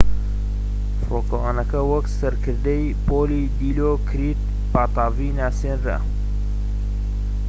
فڕۆکەوانەکە وەک سەرکردەی پۆلی دیلۆکریت پاتاڤی ناسێنرا